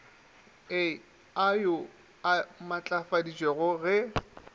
a au a matlafaditšwe ge